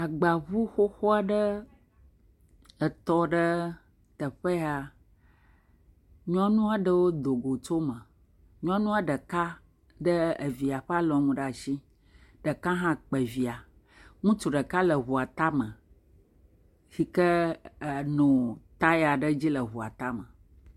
Agbaŋu xoxo aɖe etɔ ɖe teƒe ya. Nyɔnu aɖewo do go tso me. Nyɔnua ɖeka le avia ƒe alɔnu ɖe asi ɖeka hã kpe via, ŋutsu ɖeka le ŋua tame si ke e no taya aɖe dzi le ŋua tame.